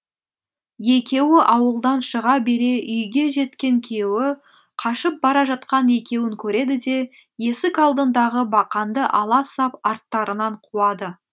екеуі ауылдан шыға бере үйге жеткен күйеуі қашып бара жатқан екеуін көреді де есік алдындағы бақанды ала сап арттарынан қуады